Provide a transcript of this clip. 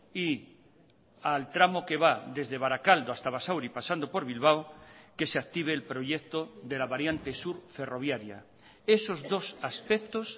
y al tramo que va desde barakaldo hasta basauri pasando por bilbao que se active el proyecto de la variante sur ferroviaria esos dos aspectos